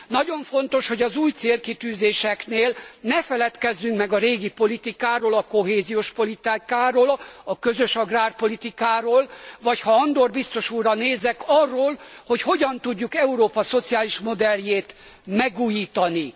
Nagyon fontos, hogy az új célkitűzéseknél ne feledkezzünk meg a régi politikáról, a kohéziós politikáról, a közös agrárpolitikáról, vagy ha Andor biztos úrra nézek, arról, hogy hogyan tudjuk Európa szociális modelljét megújítani.